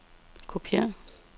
kopiér